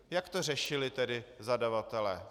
Jak to řešili tedy zadavatelé?